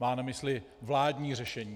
Má na mysli vládní řešení.